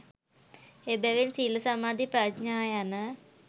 එබැවින් සීල සමාධි ප්‍රඥා යන